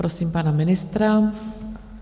Prosím pana ministra.